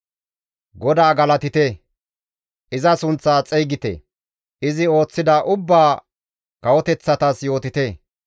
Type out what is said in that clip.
GODAA galatite; iza sunththaa xeygite; izi ooththida ubbaa kawoteththatas yootite.